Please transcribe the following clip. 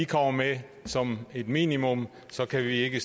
kommer med som et minimum kan vi ikke